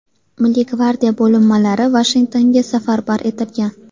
Milliy gvardiya bo‘linmalari Vashingtonga safarbar etilgan.